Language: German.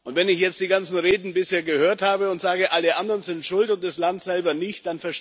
Wenn ich jetzt die ganzen Reden bisher gehört habe, die sagen Alle anderen sind schuld und das Land selber nicht.,